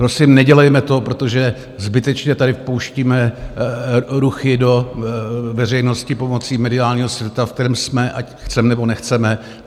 Prosím, nedělejme to, protože zbytečně tady vpouštíme ruchy do veřejnosti pomocí mediálního světa, v kterém jsme, ať chceme, nebo nechceme.